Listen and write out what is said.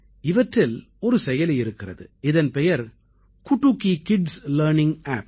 இவற்றில் ஒரு செயலி இருக்கிறது இதன் பெயர் குடுகி கிட்ஸ் லர்னிங் ஆப்